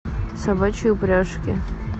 собачьи упряжки